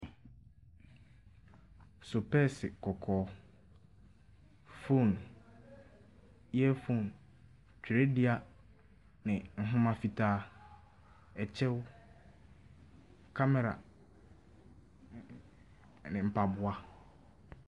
Sopɛɛse kɔkɔɔ, phone, earphone, twerɛdua ne nhoma fitaa, kyɛw, kamɛra ne mpaboa.